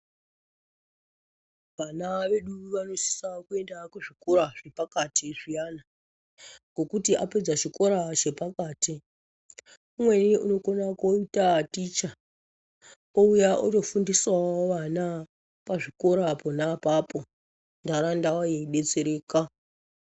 Vana vedu vanosisa kuenda kuzvikora zvepakati zviyani zvokuti apedza chikora chepakati umweni anokona kuita ticha ouya otofundisawo vana pazvikora pona ipapo ndaraunda yeidetsereka.